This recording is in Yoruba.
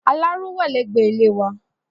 Aláró wà ní ẹgbẹ́ ilé wà